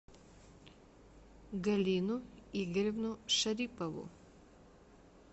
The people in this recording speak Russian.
галину игоревну шарипову